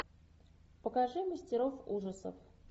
покажи мастеров ужасов